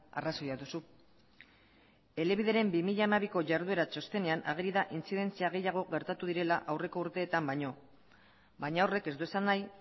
arrazoia duzu elebideren bi mila hamabiko jarduera txostenean ageri da intzidentzia gehiago direla aurreko urteetan baino baina horrek ez du esan nahi